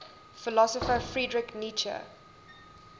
philosopher friedrich nietzsche